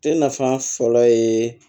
E nafa fɔlɔ ye